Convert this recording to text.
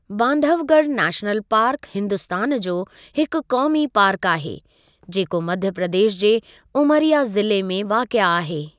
Bandhavgarh national park Hindustan जो हिकु क़ौमी पार्क आहे, जेको मध्य प्रदेश जे उमरिया ज़िले में वाक़िआ आहे।